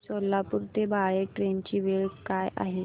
सोलापूर ते बाळे ट्रेन ची वेळ काय आहे